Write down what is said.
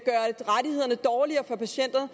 det dårligere for patienterne